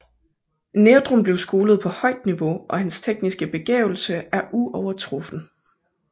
Nerdrum blev skolet på et højt niveau og hans tekniske begavelse er uovertruffen